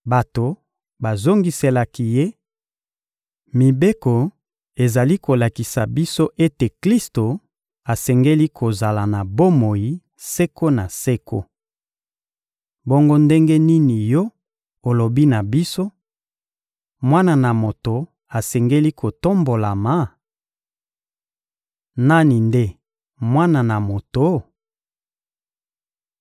Bato bazongiselaki Ye: — Mibeko ezali kolakisa biso ete Klisto asengeli kozala na bomoi seko na seko. Bongo ndenge nini yo olobi na biso: «Mwana na Moto asengeli kotombolama?» Nani nde Mwana na Moto?